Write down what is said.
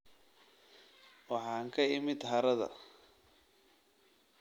waxaan ka imid harada